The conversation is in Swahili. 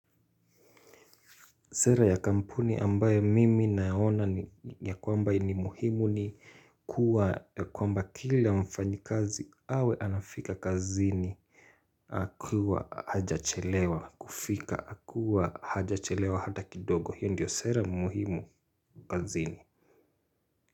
Sera ya kampuni ambayo mimi naona ya kwamba ni muhimu ni kuwa ya kwamba kila mfanyakazi awe anafika kazini. Akiwa hajachelewa kufika akiwa hajachelewa hata kidogo hiyo ndiyo sera muhimu kazini.